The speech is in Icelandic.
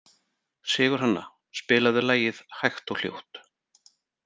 Sigurhanna, spilaðu lagið „Hægt og hljótt“.